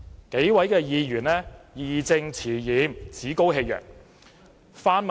這數位議員義正詞嚴，趾高氣揚。